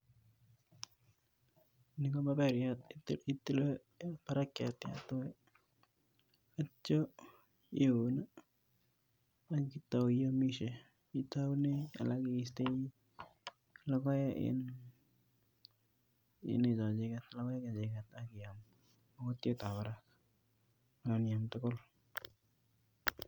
Nii ko maberiat itilee barakiat yuto akityo iwee iuun ak itauu iyomishe, itounen alak istoi lokoek iin lokoek chechiket kiyama akot chuto kora ak iyam tukul.